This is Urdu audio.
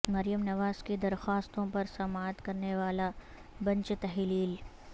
مریم نواز کی درخواستوں پر سماعت کرنے والا بنچ تحلیل